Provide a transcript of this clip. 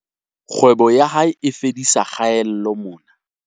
Kgwebo ya hae e fedisa kgaello mona.